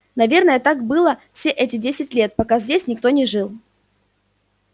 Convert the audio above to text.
наверное так было все эти десять лет пока здесь никто не жил